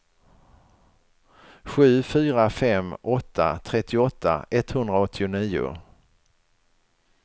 sju fyra fem åtta trettioåtta etthundraåttionio